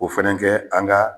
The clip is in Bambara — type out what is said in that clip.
O fɛnɛ kɛ an ga